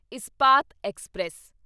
Ispat express